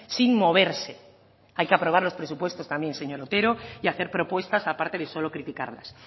sin moverse hay que aprobar los presupuestos también señor otero y hacer propuestas aparte de solo criticarlas